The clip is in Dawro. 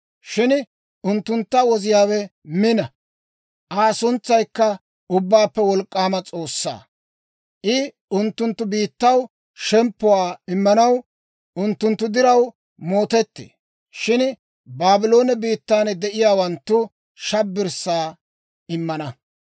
Shin unttuntta Woziyaawe mina; Aa suntsaykka Ubbaappe Wolk'k'aama S'oossaa. I unttunttu biittaw shemppuwaa immanaw, unttunttu diraw mootettee. Shin Baabloone biittan de'iyaawanttu shabbirssaa immana.